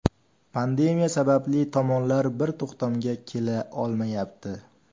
Pandemiya sababli tomonlar bir to‘xtamga kela olmayapti.